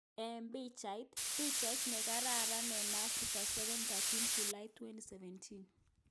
Eng Picbait: Pichat nrkararan eng Afrika 7-13 Julai 2017